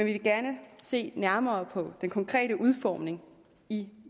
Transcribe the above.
vil gerne se nærmere på den konkrete udformning i